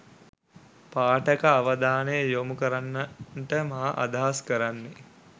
පාඨක අවධානය යොමු කරන්ට මා අදහස් කරන්නේ